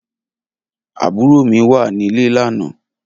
Abúró mi wà nilé lànã